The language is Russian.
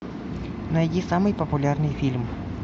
найди самый популярный фильм